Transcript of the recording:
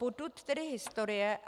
Potud tedy historie.